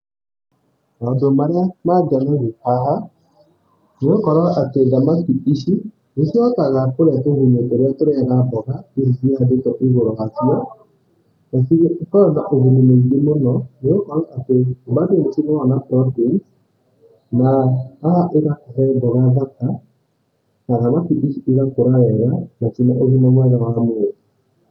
Maũndũ marĩa mangenirĩe haha, nĩgũkorwo atĩ thamakĩ ici nĩ cihotaga kũria tũgunyũ tũrĩa tũrĩyaga mbũga irĩa cihandĩtwo ĩgũrũ wacio, na ciokaga na ũguni mũingĩ mũno nĩgũkorwo atĩ kuma harĩ droppings, na haha ĩgakũhe mboga thaka na thamakĩ ici ĩgakora wega na ciĩna ũgĩma mwega wa mwĩrĩ.